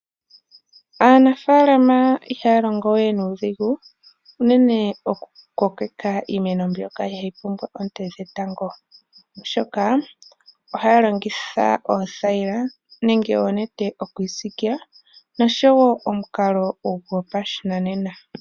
Aanafalama ihaya longo we nuudhigu, unene oku kokeka iimeno mbyoka ihayi pumbwa oonte odhindji , oshoka ohaya longitha oothayila, nenge oonete okuyi siikila, noshowo omukalo gopashinanena.